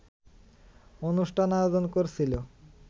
অনুষ্ঠান আয়োজন করছিল